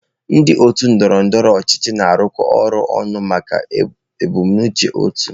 Ndị otu ndọrọ ndọrọ ọchịchị na-arụkọ ọrụ ọnụ maka ebumnuche otu.